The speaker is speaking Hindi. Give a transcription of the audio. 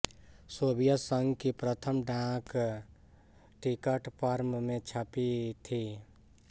सोवियत संघ की प्रथम डाक टिकट पर्म में छपी थीं